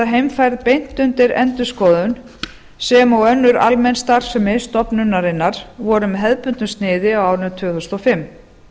heimfærð beint undir endurskoðun sem og almenn starfsemi stofnunarinnar voru með hefðbundnu sniði á árinu tvö þúsund og fimm